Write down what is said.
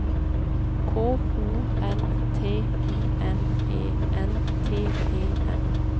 K O N T I N E N T E N